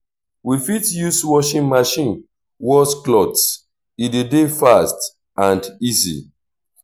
we fit use washing machine wash cloths e de dey fast and easy